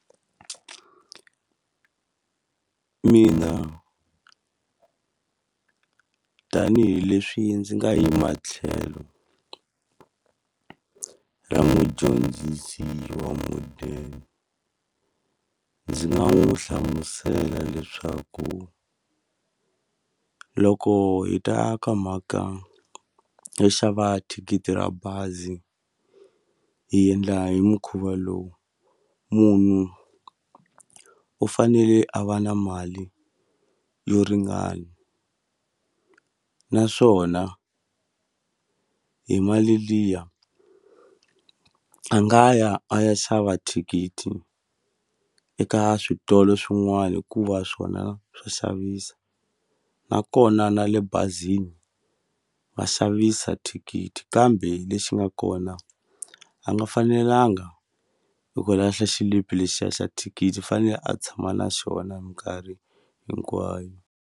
Mina tanihileswi ndzi nga yima tlhelo ra mudyondzisi wa modern, ndzi nga n'wi hlamusela leswaku loko hi ta ka mhaka yo xava thikithi ra bazi hi endla hi mukhuva lowu. Munhu u fanele a va na mali yo ringana. Naswona hi mali liya a nga ya a ya xava thikithi eka switolo swin'wana hikuva swona swa xavisa. Nakona na le bazini va xavisa thikithi, kambe lexi nga kona a nga fanelanga hi ku lahla xilipi lexiya xa thikithi i fanele a tshama na xona hi minkarhi hinkwayo.